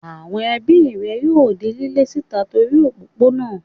Àwon ebí rè yóò di lílé síta lórí òpópónà